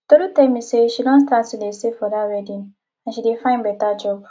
tolu tell me say she don start to dey save for dat wedding and she dey find better job